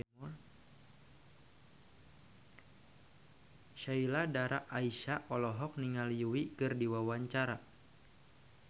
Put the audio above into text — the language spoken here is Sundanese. Sheila Dara Aisha olohok ningali Yui keur diwawancara